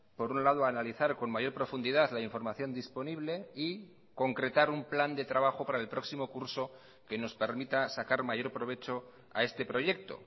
por un lado analizar con mayor profundidad la información disponible y concretar un plan de trabajo para el próximo curso que nos permita sacar mayor provecho a este proyecto